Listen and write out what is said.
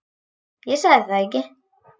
Ég sagði það ekki.